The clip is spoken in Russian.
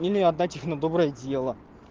или отдать их на доброе дело